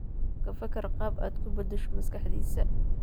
Ka fakar qaab aad ku beddesho maskaxdiisa.